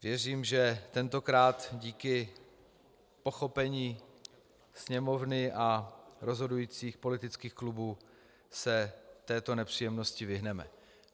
Věřím, že tentokrát díky pochopení Sněmovny a rozhodujících politických klubů se této nepříjemnosti vyhneme.